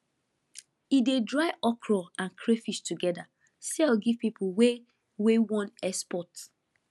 e dey dry okra and crayfish together sell give people wey wey wan export